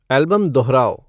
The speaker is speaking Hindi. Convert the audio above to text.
एल्बम दोहराओ